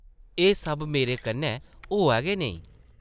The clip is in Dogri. एह् सब मेरे कन्नै होआ गै नेईं ।